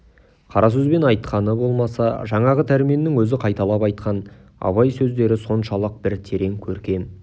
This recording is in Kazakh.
қара сөзбен айтқаны болмаса жаңағы дәрменнің өзі қайталап айтқан абай сөздері соншалық бір терең көркем